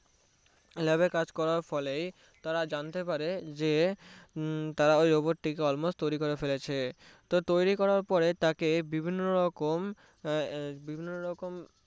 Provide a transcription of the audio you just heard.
lab এ কাজ করার ফলে তারা জানতে পারে যে তারা ওই Robot টিকে almost তৈরি করে ফেলেছে তো তৈরি করার পরে তাকে বিভিন্ন রকম বিভিন্ন রকম